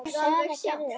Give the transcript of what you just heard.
Og Sara gerði það.